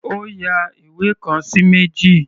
Ó ya ìwé kan sí méjì.